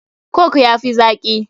Coke ya fi zaki.